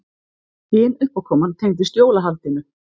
Hin uppákoman tengdist jólahaldinu.